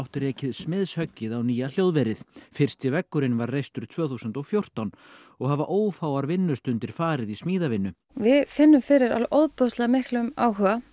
rekið smiðshöggið á nýja hljóðverið fyrsti veggurinn var reistur tvö þúsund og fjórtán og hafa ófáar vinnustundir farið í smíðavinnu við finnum fyrir alveg ofboðslega miklum áhuga